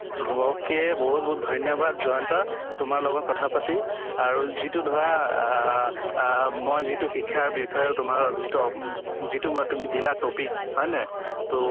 ok বহুত বহুত ধৈন্য়বাদ জয়ন্ত, তুমাৰ লগত কথা পাতি আৰুযিট ধৰা আহ আহ মই যিতো শিক্ষা বিষয় তোমাৰ যিটো ঊম যিটো ম তুমি দিলে topic হয় নে তʼ